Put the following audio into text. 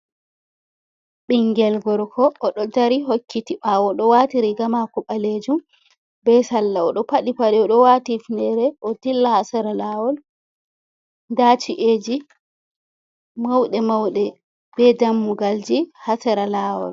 Ɓinngel gorko o ɗo dari hokkiti ɓaawo, o ɗo waati riiga maako ɓaleejum bee salla, o ɗo paɗi paɗe o ɗo waati ifneere o dilla haa sera laawol nda ci’eeji mawɗe~mawɗe bee dammugalji haa sera laawol.